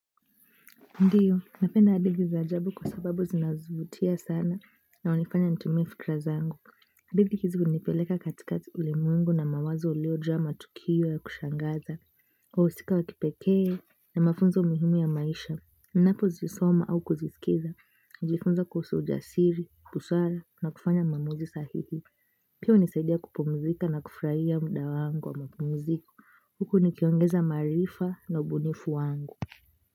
Ndiyo, napenda hadithi za ajabu kwa sababu zinavutia sana na hunifanya nitumie fikra zangu. Hadithi hizi unipeleka katika ulimwengu na mawazo uliojaa matukio ya kushangaza. Wahusika wa kipekee na mafunzo muhimu ya maisha. Ninapo zisoma au kuzisikiza. Ujifunza kuhusu ujasiri, busara na kufanya maamuzi sahihi. Pia unisaidia kupumzika na kufurahia muda wangu wa mapumziko. Huku nikiongeza maarifa na ubunifu wangu.